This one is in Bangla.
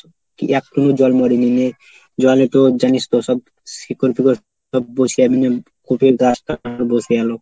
কি এখনো জল মরিনি নিয়ে জলে তো জানিস তো সব শিকড় ফেকর সব বসে একদম কপির গাছটা বসে গেল